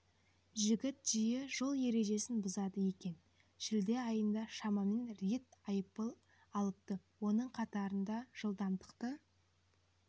жігіт жиі жол ережесін бұзады екен шілде айында шамамен рет айыппұл алыпты оның қатарында жылдамдықты